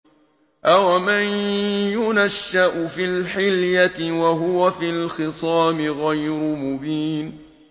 أَوَمَن يُنَشَّأُ فِي الْحِلْيَةِ وَهُوَ فِي الْخِصَامِ غَيْرُ مُبِينٍ